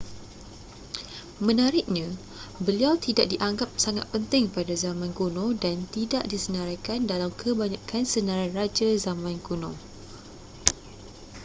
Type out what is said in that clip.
menariknya beliau tidak dianggap sangat penting pada zaman kuno dan tidak disenaraikan dalam kebanyakan senarai raja zaman kuno